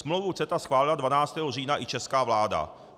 Smlouvu CETA schválila 12. října i česká vláda.